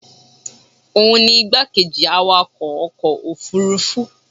òun ni igbákejì awakọ̀ ọkọ̀ òfurufú